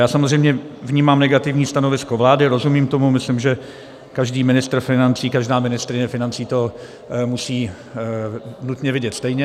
Já samozřejmě vnímám negativní stanovisko vlády, rozumím tomu, myslím, že každý ministr financí, každá ministryně financí to musí nutně vidět stejně.